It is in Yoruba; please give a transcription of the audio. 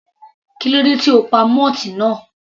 Kílódé tí o pa moth náà?.